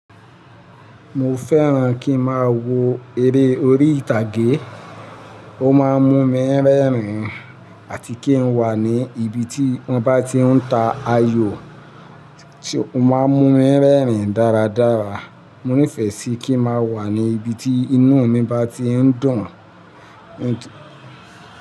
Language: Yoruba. Mo fẹ́ràn kí ń máa wo eré orí ìtàgé. Ó má ń mú mi rẹ́rìn-ín àti kí ń wà ní ibi tí wọ́n bá tí ń ta ayò, ó má ń mú mi rẹ́rìn-ín dáradára. Mo nífẹ̀ẹ́ síi kí ń máa wà ní ibi tí inú mi bá ti ń dùn.